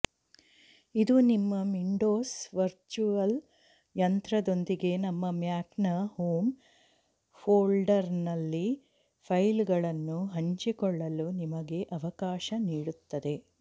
ಇದು ನಿಮ್ಮ Windows virtual ಯಂತ್ರದೊಂದಿಗೆ ನಿಮ್ಮ ಮ್ಯಾಕ್ನ ಹೋಮ್ ಫೋಲ್ಡರ್ನಲ್ಲಿ ಫೈಲ್ಗಳನ್ನು ಹಂಚಿಕೊಳ್ಳಲು ನಿಮಗೆ ಅವಕಾಶ ನೀಡುತ್ತದೆ